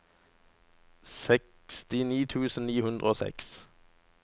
sekstini tusen ni hundre og seks